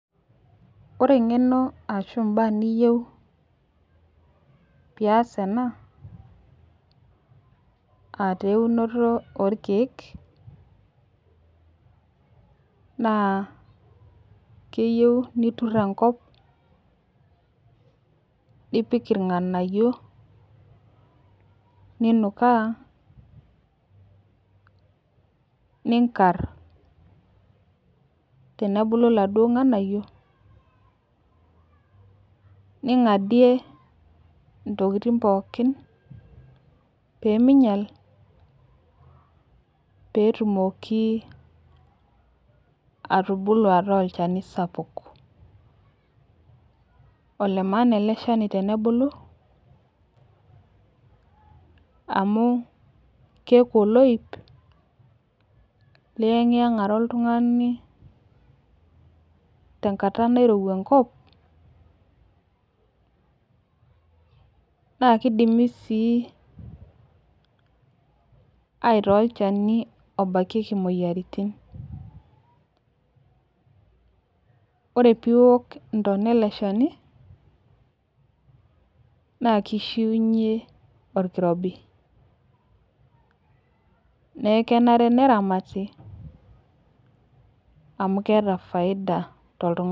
ore engeno arashu mbaa niyeu pias ena aa taa eunoto oo rkeek, keyeu nitur enkop, nipik irnganayio ninukaa ninkar tenebulu laduo nganayio ningadie tonkitin pooki pee minyal peetumoki atubulu ataa olchani sapuk. olemaana ele shani tenebulu amu kiaku oloip lienngiengarie oltungani tenkata nairowa enkop nnaa kidimi sii aitaa olchani obaikeki imoyaritin. ore piok intona ele shani na kishiunye enkirobi na kenare ne ramati amuu keeta faida to oltungani